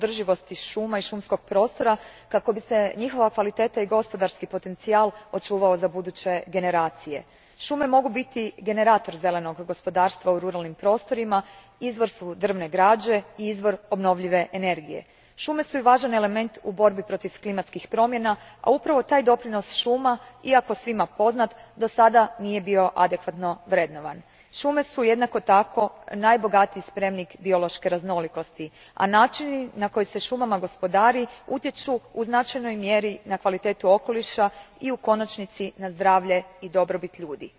Gospodine predsjedniče, gospodarsko korištenje šuma uvijek mora biti usmjereno prema održivosti šuma i šumskog prostora, kako bi se njihova kvaliteta i gospodarski potencijal očuvali za buduće generacije. Šume mogu biti generator zelenog gospodarstva u ruralnim prostorima, izvor su drvne građe i izvor obnovljive energije. Šume su i važan element u borbi protiv kilmatskih promjena, a upravo taj doprinos šuma, iako svima poznat, dosada nije bio adekvatno vrednovan. Šume su jednako tako najbogatiji spremnik biološke raznolikosti, a načini na kojima se šumama gospodari utječu u značajnoj mjeri na kvalitetu okoliša i u konačnici na zdravlje i dobrobit ljudi.